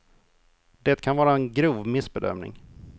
Det kan vara en grov missbedömning.